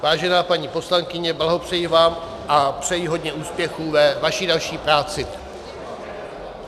Vážená paní poslankyně, blahopřeji vám a přeji hodně úspěchů ve vaší další práci.